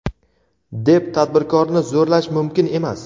deb tadbirkorni zo‘rlash mumkin emas.